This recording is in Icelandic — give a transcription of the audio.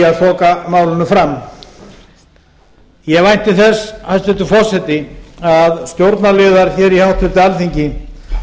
að þoka málinu fram ég vænti þess hæstvirtur forseti að stjórnarliðar hér í háttvirtu alþingi